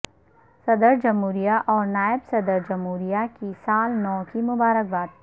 صدر جمہوریہ اور نائب صدر جمہوریہ کی سال نو کی مبارک باد